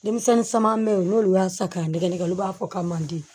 Denmisɛnnin caman bɛ yen n'olu y'a san k'a nɛgɛ nɛgɛ olu b'a fɔ k'a man di